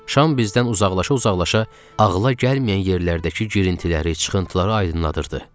Şam bizdən uzaqlaşa-uzaqlaşa ağıla gəlməyən yerlərdəki girintiləri, çıxıntıları aydınlanırdı.